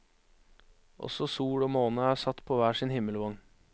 Også sol og måne er satt på hver sin himmelvogn.